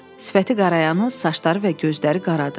Sifəti qarayanız, saçları və gözləri qaradır.